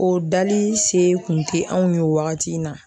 O dali se kun tɛ anw ye o wagati in na